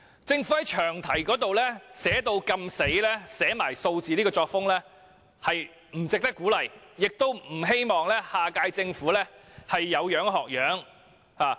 政府在詳題寫出明確數字的作風，實在不值得鼓勵，亦希望下屆政府不會有樣學樣。